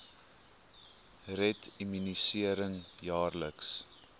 red immunisering jaarliks